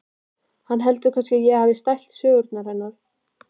Hann heldur kannski að ég hafi stælt sögurnar hennar.